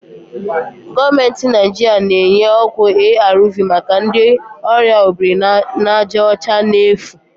Gọọmentị Naijiria na-enye ọgwụ ARV maka ndị ọrịa obirinajaọcha n'efu